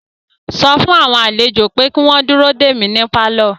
Sọ fún àwọn àlejò pé kí wọ́n dúró dè mí ní pálọ̀